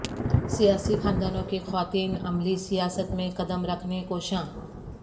سیاسی خاندانوں کی خواتین عملی سیاست میں قدم رکھنے کوشاں